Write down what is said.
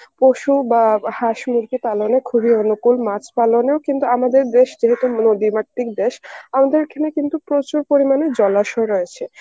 পশু বা হাঁস-মুরগি পালনে খুবই অনুকূল মাছ পালনেও কিন্তু আমাদের দেশ যেহেতু নদীমাতৃক দেশ, আমাদের এখানে কিন্তু প্রচুর পরিমাণে জলাশয় রয়েছে.